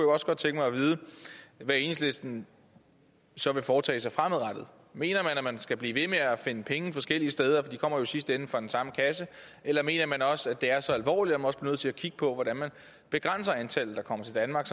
også godt tænke mig at vide hvad enhedslisten så vil foretage sig fremadrettet mener man at man skal blive ved med at finde penge forskellige steder for de kommer jo i sidste ende fra den samme kasse eller mener man også at det er så alvorligt at man også bliver nødt til at kigge på hvordan man begrænser antallet der kommer til danmark